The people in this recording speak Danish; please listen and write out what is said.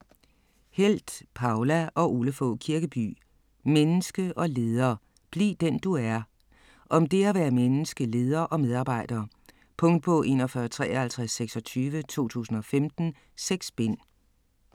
Helth, Poula og Ole Fogh Kirkeby: Menneske og leder: bliv den du er Om det at være menneske, leder og medarbejder. Punktbog 415326 2015. 6 bind.